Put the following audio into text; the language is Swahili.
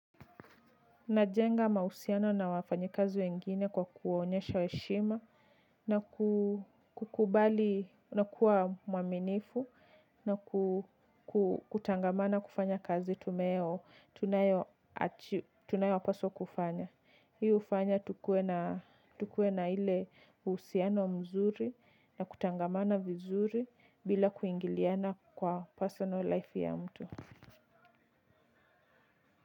Najenga mahusiano na wafanyikazu wengine kwa kuwaonyesha heshima na kukubali kuwa muaminifu na kutangamana kufanya kazi tunayoapaswa kufanya. Hii hufanya tukuwe na ile uhusiano mzuri na kutangamana vizuri bila kuingiliana kwa personal life ya mtu.